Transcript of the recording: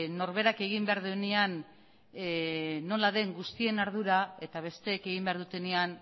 norberak egin behar duenean nola den guztion ardura eta besteek egin behar dutenean